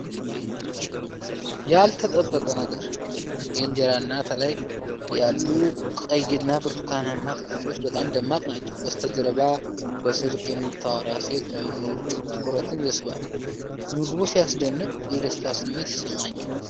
ያልተጠበቀ ነገር! የእንጀራ አናት ላይ ያሉት ቀይና ብርቱካንማ አትክልቶች በጣም ደማቅ ናቸው። በስተጀርባ በስልክ የምታወራ ሴት መኖሩ ትኩረትን ይስባል። ምግቡ ሲያስደንቅ! የደስታ ስሜት ይሰማኛል።